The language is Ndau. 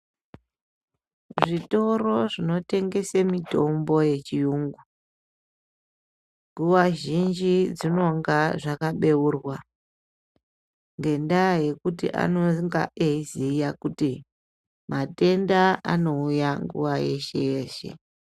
Zvitoro zvinotengese mitombo yechiyungu, nguva zhinji dzinonga zvakabeurwa. Ngendaa yekuti anonga eiziya kuti matenda anouya nguva yeshe-yeshe.